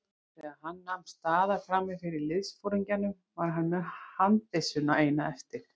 Þegar hann nam staðar frammi fyrir liðsforingjanum var hann með handbyssuna eina eftir.